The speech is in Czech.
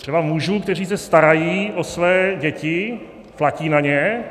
Třeba mužů, kteří se starají o své děti, platí na ně.